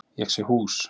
Ég sé hús.